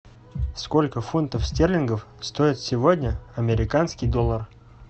сколько фунтов стерлингов стоит сегодня американский доллар